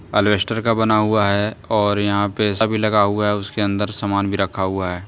एल्वेस्टर का बना हुआ है और यहां पे सभी लगा हुआ है उसके अंदर सामान भी रखा हुआ है।